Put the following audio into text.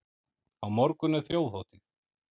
Á morgun er þjóðhátíð.